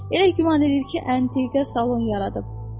Elə güman eləyir ki, antiqə salon yaradıb.